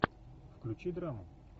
включи драму